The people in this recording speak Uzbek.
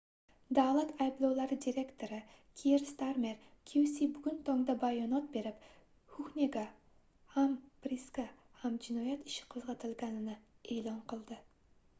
davlat ayblovlari direktori kier starmer qc bugun tongda bayonot berib huhnega ham prisga ham jinoyat ishi qoʻzgʻatilganini eʼlon qildi